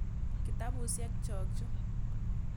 Kitapusyek chok chu.